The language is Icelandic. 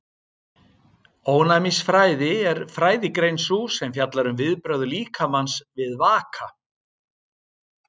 Ónæmisfræði er fræðigrein sú sem fjallar um viðbrögð líkamans við vaka.